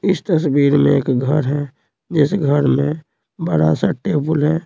इस तस्वीर में एक घर है जिस घर में बड़ा सा टेबल है।